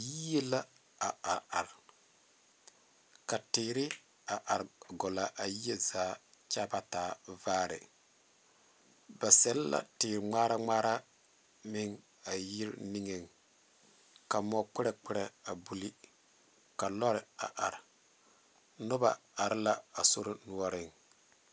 Yie la a are are ka teere a are gɔle a yie zaa kyɛ a ba taa vaare ba sɛle la teŋmaara ŋmaara meŋ a yiri niŋeŋ ka mɔkperɛ kperɛ buli ka lɔre a are noba are la a sori noɔreŋ.